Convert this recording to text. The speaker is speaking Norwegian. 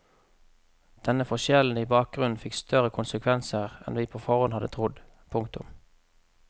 Denne forskjellen i bakgrunn fikk større konsekvenser enn vi på forhånd hadde trodd. punktum